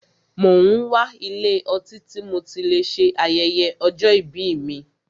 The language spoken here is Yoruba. Mo n wá ilé ọtí tí mo tí lè ṣe ayẹyẹ ọjọ́ ìbí mí.